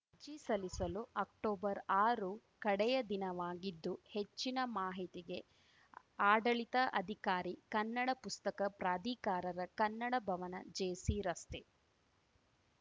ಅರ್ಜಿ ಸಲ್ಲಿಸಲು ಅಕ್ಟೊಬರ್ಆರು ಕಡೆಯ ದಿನವಾಗಿದ್ದು ಹೆಚ್ಚಿನ ಮಾಹಿತಿಗೆ ಆಡಳಿತ ಅಧಿಕಾರಿ ಕನ್ನಡ ಪುಸ್ತಕ ಪ್ರಾಧಿಕಾರರ ಕನ್ನಡ ಭವನಜೆಸಿರಸ್ತೆ